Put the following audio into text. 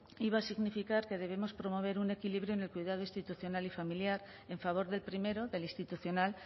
iba a significar que debemos promover un equilibrio en el cuidado institucional y familiar en favor del primero del institucional